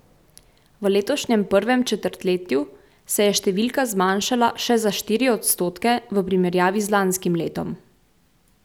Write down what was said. V letošnjem prvem četrtletju se je številka zmanjšala še za štiri odstotke v primerjavi z lanskim letom.